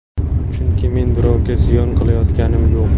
Chunki men birovga ziyon qilayotganim yo‘q.